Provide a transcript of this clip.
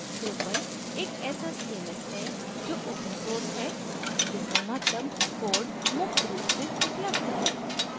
drupal एक ऐसा cms है जो open source है जिसका मतलब code मुफ्त रूप से उपलब्ध है